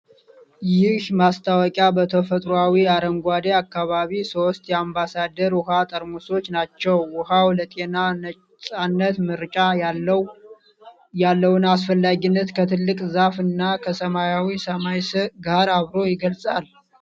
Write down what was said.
ይህ ማስታወቂያ በተፈጥሮአዊ አረንጓዴ አካባቢ ሦስት የአምባሳደር ውሃ ጠርሙሶችን ናቸው። ውሃው ለጤና ነፃነት (ምርጫ) ያለውን አስፈላጊነት ከትልቅ ዛፍ እና ከሰማያዊ ሰማይ ጋር አብሮ ይገልጻል።